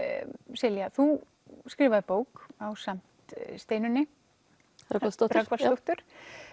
Silja þú skrifaðir bók ásamt Steinunni Rögnvaldsdóttur Rögnvaldsdóttur